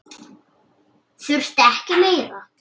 Þurfti ekki meira.